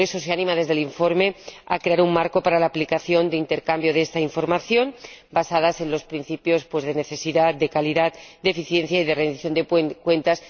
Y por eso, se anima desde el informe a crear un marco para la aplicación del intercambio de esta información, basado en los principios de necesidad, de calidad, de eficiencia y de rendición de cuentas.